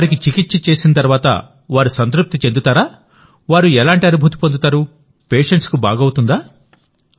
వారికి చికిత్స చేసిన తర్వాతవారు సంతృప్తి చెందుతారా వారు ఎలాంటి అనుభూతి పొందుతారు పేషెంట్స్ కు బాగవుతుందా